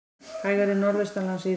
Hægari Norðaustanlands síðdegis